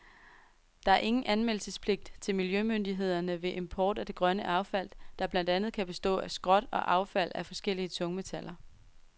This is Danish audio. Der er ingen anmeldelsespligt til miljømyndighederne ved import af det grønne affald, der blandt andet kan bestå af skrot og affald af forskellige tungmetaller.